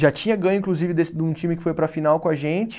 Já tinha ganho, inclusive, desse de um time que foi para a final com a gente.